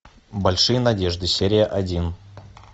большие надежды серия один